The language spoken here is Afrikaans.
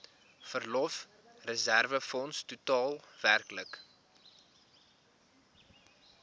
verlofreserwefonds totaal werklik